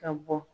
Ka bɔ